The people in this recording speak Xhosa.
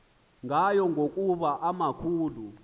ngayo ngokuba emakhulu